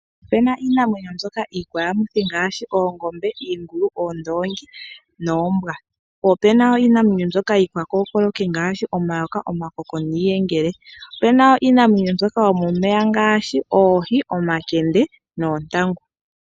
Opena iinamwenyo mbyoka iikwayamithi ngaashi oongombe, iingulu, oondoongi noombwa po wo opena iinamwenyo mbyoka iikwakookoloki ngaashi omayoka, omakoko niiyengele. Opena wo iinamwenyo mbyoka yomomeya ngaashi oohi, omakende noontangu.